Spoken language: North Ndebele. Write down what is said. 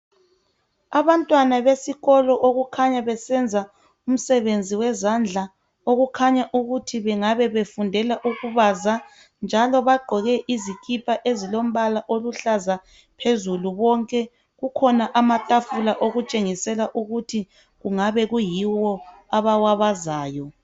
Abantwana besikolo okukhanya besenza umsebenzi wezandla okukhanya ukuthi bengabe befundela ukubaza njalo bagqoke izikipa ezilombala oluhlaza phezulu bonke. Okukhona amatafula okutshengisela ukuthi kungabe kuyiwo abawabazayo.